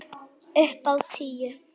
Upp á tíu!